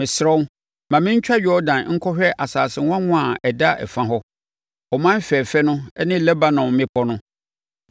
Mesrɛ wo, ma me ntwa Yordan nkɔhwɛ asase nwanwa a ɛda ɛfa hɔ, ɔman fɛfɛ no ne Lebanon mmepɔ no.”